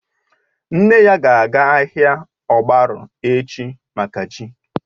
Nne ya ga-aga ahịa ogbaru echi mákà ji